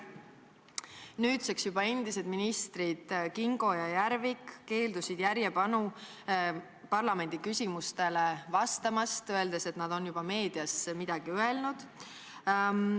Nüüdseks endised ministrid Kingo ja Järvik keelduvad järjepanu parlamendiliikmete küsimustele vastamast, öeldes, et nad on juba meedias midagi öelnud.